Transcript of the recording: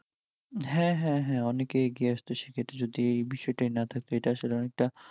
হ্যাঁ হ্যাঁ হ্যাঁ অনেকেই এগিয়ে আসত, সেক্ষেত্রে যদি এই বিষয়ইটাই না থাকত এটা আসলে অনেকটা